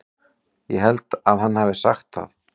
Ég held hann hafi sagt það.